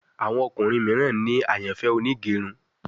Àwọn ọkùnrin míràn ní àyànfẹ Onigerun